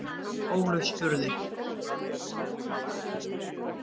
Ólöf spurði: